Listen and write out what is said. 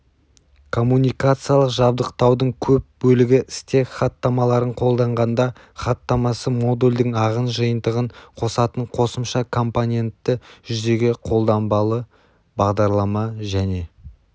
коммуникациялық жабдықтаудың көп бөлігі стек хаттамаларын қолданғанда хаттамасы модульдің ағын жиынтығын қосатын қосымша компоненті жүзеге қолданбалы бағдарлама және